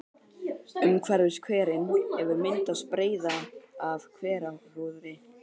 Umhverfis hverinn hefur myndast breiða af hverahrúðri.